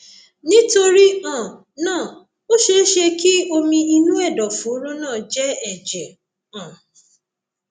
nítorí um náà ó ṣeé ṣe kí omi inú ẹdọfóró náà jẹ ẹjẹ um